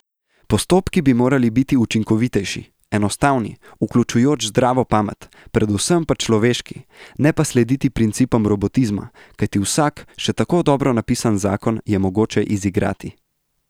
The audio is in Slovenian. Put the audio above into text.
Postopki bi morali biti učinovitejši, enostavni, vključujoč zdravo pamet, predvsem pa človeški, ne pa slediti principom robotizma, kajti vsak, še tako dobro napisan zakon je mogoče izigrati!